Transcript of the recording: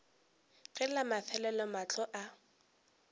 ge la mafelelo mahlo a